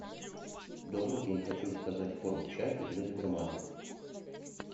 добрый день хочу заказать корм чаппи для добермана